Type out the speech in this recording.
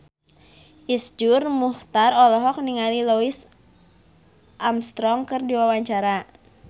Iszur Muchtar olohok ningali Louis Armstrong keur diwawancara